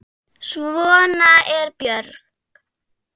Sigldu heill.